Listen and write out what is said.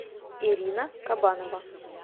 ирина кабанова